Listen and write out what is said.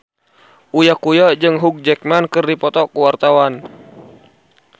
Uya Kuya jeung Hugh Jackman keur dipoto ku wartawan